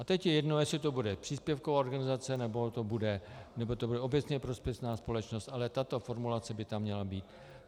A teď je jedno, jestli to bude příspěvková organizace, nebo to bude obecně prospěšná společnost, ale tato formulace by tam měla být.